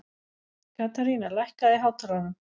Katharina, lækkaðu í hátalaranum.